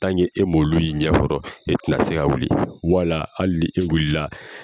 e m'olu y'i ɲɛkɔrɔ e tɛ na se ka wuli wala hali ni e wuli la